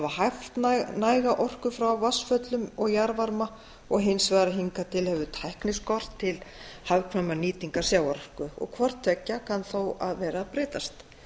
haft næga orku frá vatnsföllum og jarðvarma og hins vegar að hingað til hefur tækni skort til hagkvæmrar nýtingar sjávarorku hvort tveggja kann þó að vera að breytast